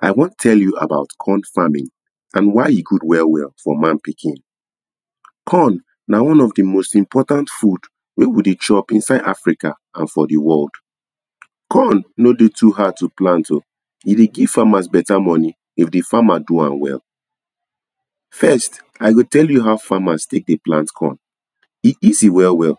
I wan tell you about corn farming and why e good well well for man pikin corn nah one of the most important food when we deh chop inside Africa and for the world corn no deh too hard to plant o e deh give farmers better money if d farmer do am well first i go tell you how farmers take deh plant corn e easy well well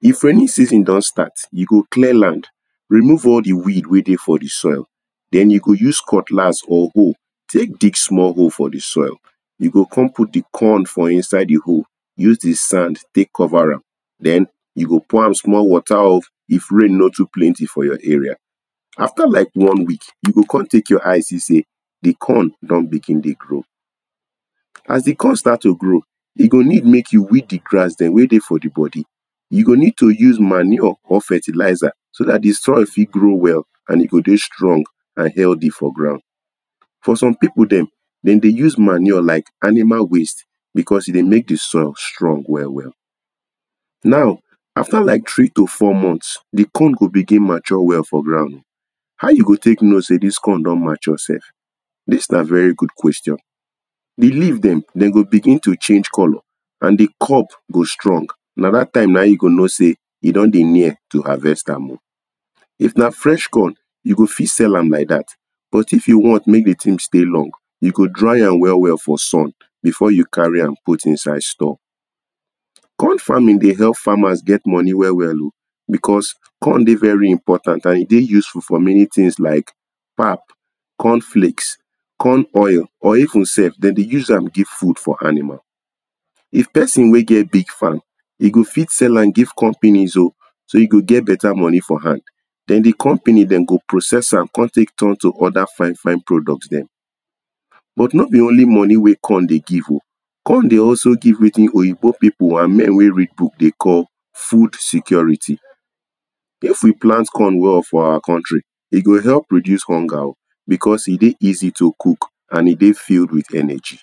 if rainy season don start you go clear land remove all the weed weh deh for the soil then you go use cutlas or hoe take dig small hole for the soil you go come put the corn for inside the hole use the sand take cover am then you go pour am small water o if rain no too planty for your area after like one week you go come take your eyes see say the corn don begin deh grow as the corn start to grow e go need make you weed the grass them weh deh for the body you go need to use manure or fertilizer so that the soil fit grow well and e go deh strong and healthy for ground for some people them them deh use manure like animal waste because e deh make the soil strong well well now after like three to four months the corn go begin mature well for ground how you go take no say this corn don mature sef this nah very good question d leave them them go begin to change colour and the corp go strong nah that time nah in you go know say e don deh near to harvest am oo if nah fresh corn you go fit sell am lke that but if you want make the thing stay long you go dry am well well for sun before you carry am put inside store corn farming deh help farmers get money well well o because corn deh very important and e deh useful for many things like pap cornflakes corn oil or even sef dem deh use am give food for animal if person weh get big farm e go fit sell am give companies o so e go get better money for hand then the company them go process am come take turn to other fine fine products them but no be only money weh corn deh give o corn deh also give wetin oyibo pipo and men wey read book deh call food security if we plant corn well for our country e go help reduce hunger o because e deh easy to cook and e deh filled with energy